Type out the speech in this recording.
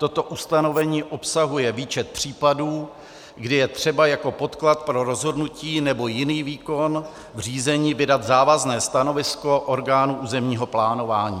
Toto ustanovení obsahuje výčet případů, kdy je třeba jako podklad pro rozhodnutí nebo jiný výkon v řízení vydat závazné stanovisko orgánu územního plánování.